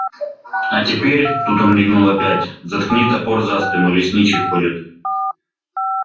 а теперь тут он мигнул опять заткни топор за спину лесничий ходит